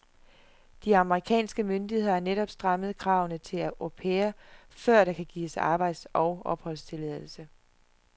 De amerikanske myndigheder har netop strammet kravene til aupair før der kan gives arbejds og opholdstilladelse.